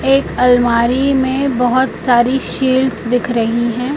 एक अलमारी में बहुत सारी शील्ड्स दिख रही है।